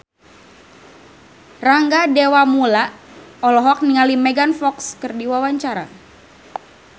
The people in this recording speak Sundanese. Rangga Dewamoela olohok ningali Megan Fox keur diwawancara